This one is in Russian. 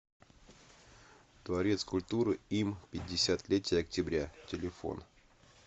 дворец культуры им пятьдесят летия октября телефон